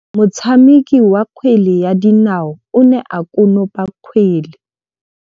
Motshameki wa kgwele ya dinaô o ne a konopa kgwele.